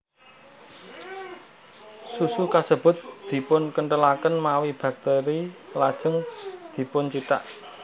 Susu kasebut dipunkenthelaken mawi bakteri lajeng dipuncithak